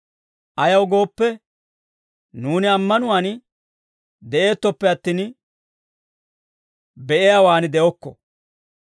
Ayaw gooppe, nuuni ammanuwaan de'eettoppe attin, be'iyaawaan de'okko.